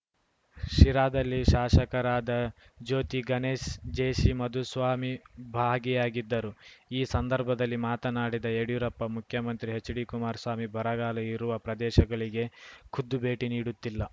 ಶಿರಾದಲ್ಲಿ ಶಾಸಕರಾದ ಜ್ಯೋತಿಗಣೇಶ್‌ ಜೆಸಿಮಾಧುಸ್ವಾಮಿ ಭಾಗಿಯಾಗಿದ್ದರು ಈ ಸಂದರ್ಭದಲ್ಲಿ ಮಾತನಾಡಿದ ಯಡಿಯೂರಪ್ಪ ಮುಖ್ಯಮಂತ್ರಿ ಎಚ್‌ಡಿಕುಮಾರಸ್ವಾಮಿ ಬರಗಾಲ ಇರುವ ಪ್ರದೇಶಗಳಿಗೆ ಖುದ್ದು ಭೇಟಿ ನೀಡುತ್ತಿಲ್ಲ